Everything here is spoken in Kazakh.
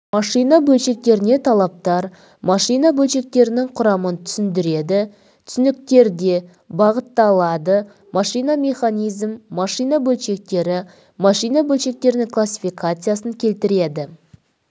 машина бөлшектеріне талаптар машина бөлшектерінің құрамын түсіндіреді түсініктерде бағытталады машина механизм машина бөлшектері машина бөлшектерінің классификациясын келтіреді